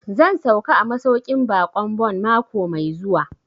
Zan sauka a masauƙin baƙin Bon mako mai zuwa